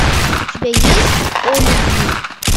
у тебя есть о любви